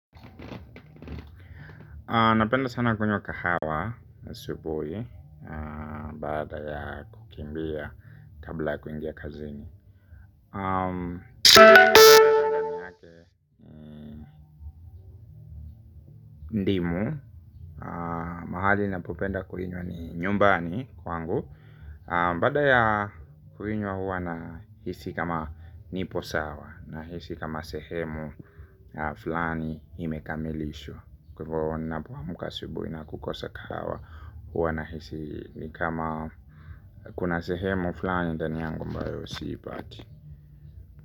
Napenda sana kunywa kahawa asubuhi. Baada ya kukimbia kabla ya kuingia kazini mahali napopenda kuinywa ni nyumbani kwangu. Bada ya kuinywa huwa nahisi kama nipo sawa. Nahisi kama sehemu na fulani imekamilishwa. Kwa hivyo huwa napoamka asubuhi na kukosa kahawa. Huwa nahisi ni kama kuna sehemu fulani ndani yangu ambayo siipati.